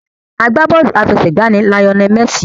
Agbá bọ́ọ̀lù àfẹsẹ̀gbá ni Lionel Messi.